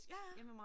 Ja ja